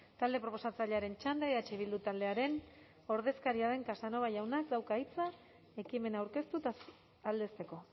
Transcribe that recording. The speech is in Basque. talde proposatzailearen txanda eh bildu taldearen ordezkaria den casanova jaunak dauka hitza ekimena aurkeztu eta aldezteko